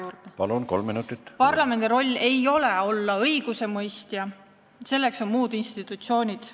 Minu sõnum on see, et parlamendi roll ei ole olla õigusemõistja, selleks on muud institutsioonid.